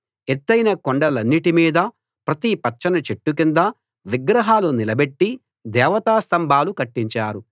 ఎత్తయిన కొండలన్నిటి మీదా ప్రతి పచ్చని చెట్టు కిందా విగ్రహాలు నిలబెట్టి దేవతా స్తంభాలు కట్టించారు